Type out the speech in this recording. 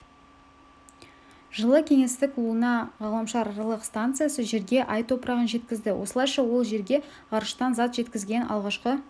жылы кеңестік луна ғаламшараралық станциясы жерге ай топырағын жеткізді осылайша ол жерге ғарыштан зат жеткізген алғашқы